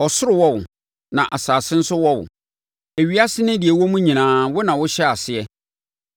Ɔsoro wɔ wo, na asase nso wɔ wo; ewiase ne deɛ ɛwɔ mu nyinaa, wo na wohyɛɛ aseɛ.